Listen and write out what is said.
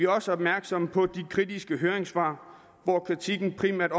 også opmærksomme på de kritiske høringssvar hvor kritikken primært